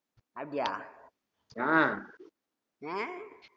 அப்படியா அஹ்